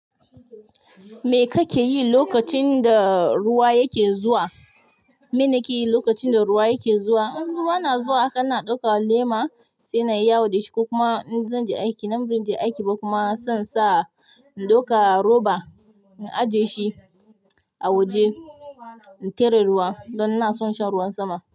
Me kake yi lokacin da ruwa yake zuwa? Me nake yi lokacin da ruwa yake zuwa, in ruwa na zuwa kan na ɗauka lema sai na yi yawo da shi ko kuma in zan je aiki, nan ba nan zan je aiki ba kuma zan sa in ɗauka roba, na ajiye shi a waje in tare ruwa don na son shan ruwan sama.